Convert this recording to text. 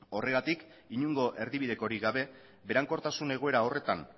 horregatik inongo erdibidekorik gabe berankortasun egoera horretan